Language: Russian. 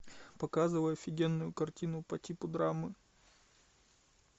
показывай офигенную картину по типу драмы